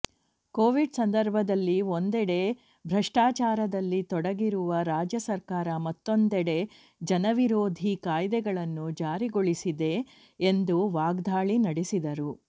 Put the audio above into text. Covid ಸಂದರ್ಭದಲ್ಲಿ ಒಂದೆಡೆ ಭ್ರಷ್ಟಾಚಾರದಲ್ಲಿ ತೊಡಗಿರುವ ರಾಜ್ಯ ಸರ್ಕಾರ ಮತ್ತೊಂದೆಡೆ ಜನವಿರೋಧಿ ಕಾಯ್ದೆಗಳನ್ನು ಜಾರಿಗೊಳಿಸಿದೆ ಎಂದು ವಾಗ್ದಾಳಿ ನಡೆಸಿದರು